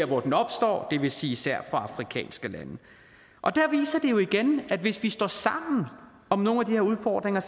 hvor den opstår det vil sige især i afrikanske lande og der viser det jo igen at hvis vi står sammen om nogle af de her udfordringer